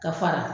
Ka fara